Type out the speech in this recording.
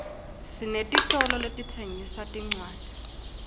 sinetitolo letitsengisa tincwadzi